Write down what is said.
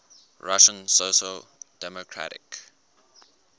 russian social democratic